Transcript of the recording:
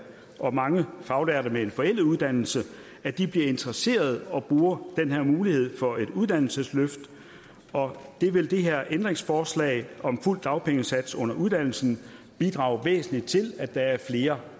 og mange faglærte med en forældet uddannelse bliver interesserede og bruger den her mulighed for et uddannelsesløft det vil det her ændringsforslag om fuld dagpengesats under uddannelsen bidrage væsentligt til at der er flere